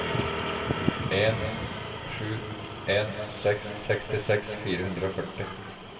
en sju en seks sekstiseks fire hundre og førti